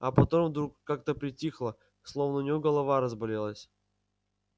а потом вдруг как-то притихла словно у неё голова разболелась